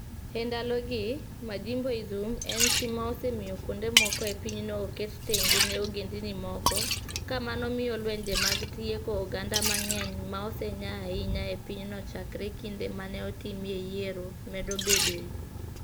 E ndalogi, "Majimboism" en tim ma osemiyo kuonde moko e pinyno oket tenge ne ogendini moko, ka mano miyo lwenje mag tieko oganda mang'eny ma osenya ahinya e pinyno chakre kinde ma ne otimie yiero, medo bedoe.